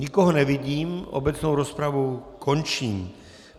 Nikoho nevidím, obecnou rozpravu končím.